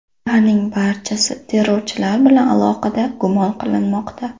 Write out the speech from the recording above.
Ularning barchasi terrorchilar bilan aloqada gumon qilinmoqda.